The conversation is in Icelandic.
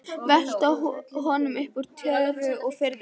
Velta honum upp úr tjöru og fiðri!